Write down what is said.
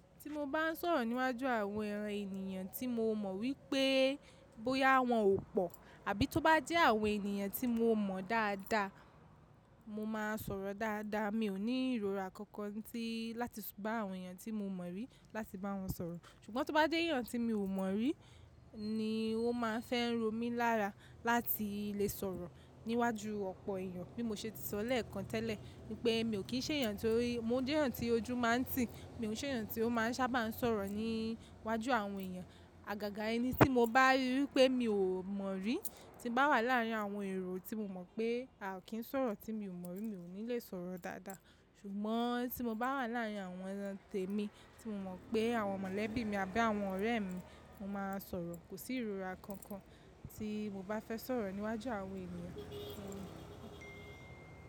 Tí mo bá ń sọ̀rọ̀ níwájú àwọn èèyàn tí mo mọ̀ wípé bóyá wọ́n ò pọ̀ àbí tó bá jẹ́ àwọn ènìyàn tí mo mọ̀ dáadáa, mo máa ń sọ̀rọ̀ dáadáa. Mi ò ní ìrora kankan tí láti s bà àwọn èèyàn tí mo mọ̀ rí láti bá wọn sọ̀rọ̀. Ṣùgbọ́n tó bá jẹ́ èèyàn tí mi ò mọ̀ rí ni ó máa ń fẹ́ ń ro mí lára láti lè sọ̀rọ̀ níwájú ọ̀pọ̀ èèyàn. Bí mo ṣe ti sọ lẹ́ẹ̀kan tẹ́lẹ̀ wípé mi ò kí ń ṣe èèyàn tí ó rí, mo jẹ́ èèyàn tí ojú máa ń tì, mi ò ṣe èèyàn tí ó máa ń sábà sọ̀rọ̀ níwájú àwọn èèyàn. Àgàgà ẹni tí mo bá rí wípé mi ò mọ̀ rí tí bá wà láàrin àwọn èrò tí mo mọ̀ pé à kí ń sọ̀rọ̀ tí mi ò mọ̀ rí mi ò ní lè sọ̀rọ̀ dáadáa. Ṣùgbọ́n tí mo bá wà láàrin àwọn ẹran tèmi tí mo mọ̀ pé àwọn mọ̀lẹ́bí mi àbí àwọn ọ̀rẹ́ mi, mo máa ń sọ̀rọ̀. Kò sí ìrora kankan tí mo bá fẹ́ sọ̀rọ̀ níwájú àwọn èniyàn.